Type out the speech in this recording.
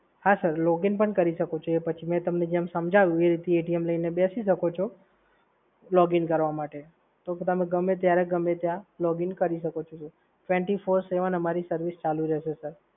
હા sir, login પણ કરી શકો છો. એ પછી હું તમને જેમ સમજાવું એમ લઈને બેસી જશો સર. login કરવા માટે તો તમે ગમે ત્યારે ગમે ત્યા login કરી શકો છો. twenty four by seven અમારી service ચાલુ રહેશે, સર.